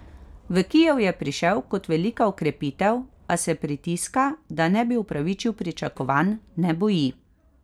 V Kijev je prišel kot velika okrepitev, a se pritiska, da ne bi upravičil pričakovanj, ne boji.